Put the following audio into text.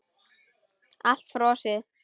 Allt frosið.